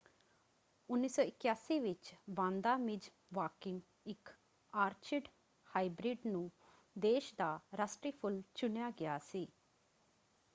1981 ਵਿੱਚ Vanda Miss Joaquim ਇੱਕ orchid hybrid ਨੂੰ ਦੇਸ਼ ਦਾ ਰਾਸ਼ਟਰੀ ਫੁੱਲ ਚੁਣਿਆ ਗਿਆ ਸੀ।